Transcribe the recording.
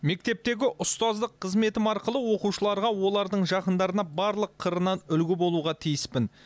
мектептегі ұстаздық қызметім арқылы оқушыларға олардың жақындарына барлық қырынан үлгі болуға тиіспін